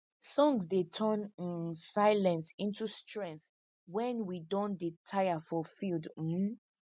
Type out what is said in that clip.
songs dey turn um silence into strength wen we don dey tire for field um